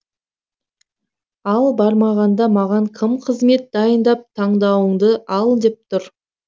ал бармағанда маған кім қызмет дайындап таңдауыңды ал деп тұр